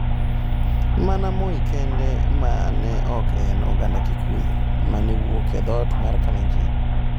Mana Moi kende mane ok en oganda Kikuyu - mawuok e dhoot mar Kalenjin.